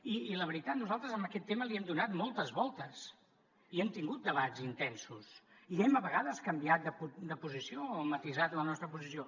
i la veritat nosaltres en aquest tema hi hem donat moltes voltes i hem tingut debats intensos i hem a vegades canviat de posició o matisat la nostra posició